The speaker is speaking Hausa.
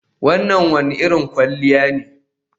Wannan wane irin kwalliya ne